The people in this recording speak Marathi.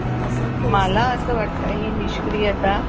तसं मला असं वाटतं हे निष्क्रियता